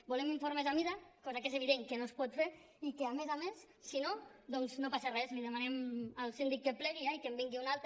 volem informes a mida cosa que és evident que no es pot fer i que a més a més si no doncs no passa res li demanem al síndic que plegui ja i que en vingui un altre